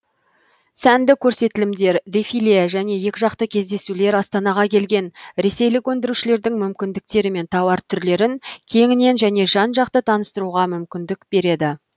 сәнді көрсетілімдер дефиле және екіжақты кездесулер астанаға келген ресейлік өндірушілердің мүмкіндіктері мен тауар түрлерін кеңінен және жан жақты таныстыруға мүмкіндік береді